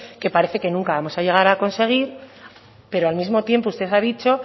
que parece que nunca vamos a llegar a conseguir pero al mismo tiempo usted ha dicho